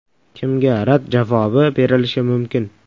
Kimga rad javobi berilishi mumkin?